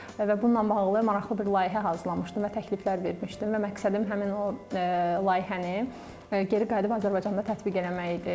Və bununla bağlı maraqlı bir layihə hazırlamışdım və təkliflər vermişdim və məqsədim həmin o layihəni geri qayıdıb Azərbaycanda tətbiq eləmək idi.